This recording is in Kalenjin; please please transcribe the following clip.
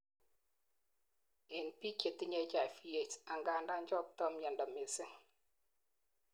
en biik chetinyei HIV/AIDS angandan choktoi miando mising